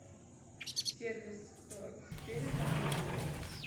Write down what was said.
сервис перезвонить